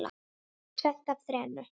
Tvennt af þrennu.